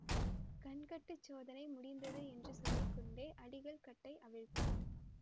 கண்கட்டுச் சோதனை முடிந்தது என்று சொல்லி கொண்டே அடிகள் கட்டை அவிழ்த்தார்